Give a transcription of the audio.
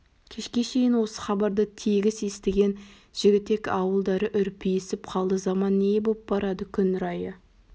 кешке шейін осы хабарды тегіс естіген жігітек ауылдары үрпиісіп қалды заман не боп барады күн райы